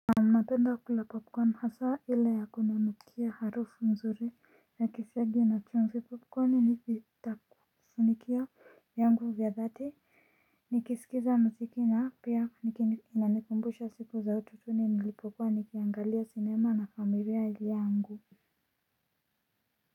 Napenda kula popcorn hasa ile ya kuninukia harufu mzuri ya kisiagi na chumvi popcorn ni takusunikia vyangu vya dhati nikisikiza muziki na pia inanikumbusha siku za utotoni nilipokuwa nikiangalia sinema na familia yangu.